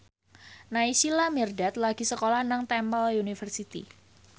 Naysila Mirdad lagi sekolah nang Temple University